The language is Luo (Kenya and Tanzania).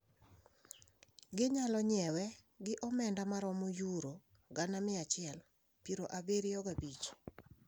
Ginyalo nyiewe gi omenda mromo yuro gana mia achiel piero abiriyo gi abich.